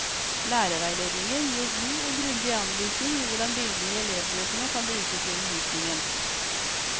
Lærerveiledningen gir god og grundig anvisning i hvordan bildene i elevbøkene kan brukes i undervisningen.